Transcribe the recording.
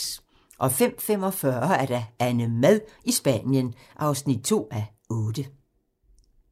05:45: AnneMad i Spanien (2:8)